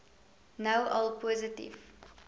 nou al positief